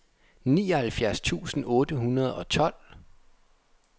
nioghalvfjerds tusind otte hundrede og tolv